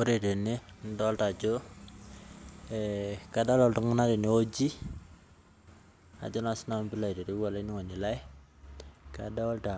Ore tene nidolta ajo, kadolta iltung'anak tenewueji, ajo na sinanu pilo aitereu olainining'oni lai, kadolta